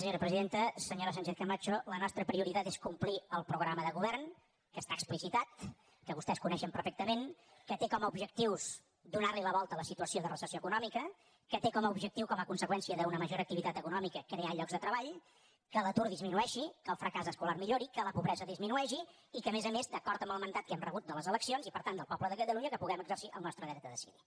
senyora sánchez camacho la nostra prioritat és complir el programa de govern que està explicitat que vostès coneixen perfectament que té com a objectius donar li la volta a la situació de recessió econòmica que té com a objectiu com a conseqüència d’una major activitat econòmica crear llocs de treball que l’atur disminueixi que el fracàs escolar millori que la pobresa disminueixi i que a més a més d’acord amb el mandat que hem rebut de les eleccions i per tant del poble de catalunya puguem exercir el nostre dret a decidir